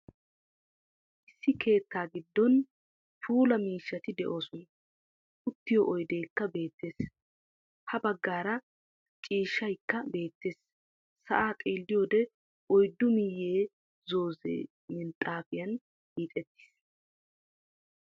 Issi keettaa giddon puulaa miishshaati de'oosona. Uttiyo oydeekka bettees. Ha baggaara ciishshaykka beettees. Sa'aa xeeliyode oyddu miyee zoozzee minxxaafiyan hiixxeettiis.